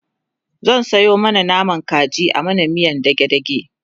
zan Sayo naman kaji a mana miyan dage dage